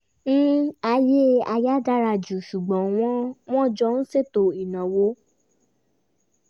ayé aya dára ju ṣùgbọ́n wọn wọn jọ ń ṣètò ináwó